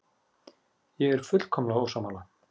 Ég er fullkomlega ósammála.